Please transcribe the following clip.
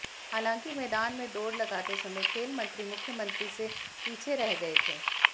हालांकि मैदान में दौड़ लगाते समय खेल मंत्री मुख्यमंत्री से पीछे रह गए थे